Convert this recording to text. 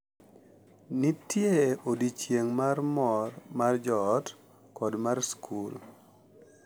Nitie odiochieng' mar mor mar joot, kod mar skul,